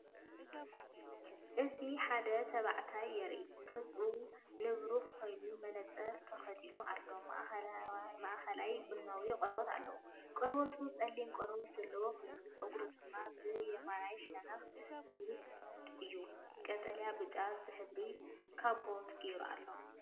እዚ ሓደ ተባዕታይ የርኢ። ገጹ ንብሩህ ኮይኑ መነጽር ተኸዲኑ ኣሎ። ማእከላይ ቡናዊ ቆርበት ኣለዎ። ቆርበቱ ጸሊም ቆርበት ዘለዎ ኮይኑ ጸጉሩ ድማ ብየማናይ ሸነኽ ረጒድ እዩ። ቀጠልያ ብጫ ዝሕብሩ ካቦት ገይሩ ኣሎ።